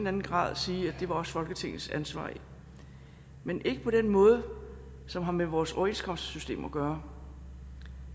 anden grad sige at det også var folketingets ansvar men ikke på den måde som har med vores overenskomstsystem at gøre